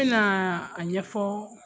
N bɛna a ɲɛ ɲɛfɔ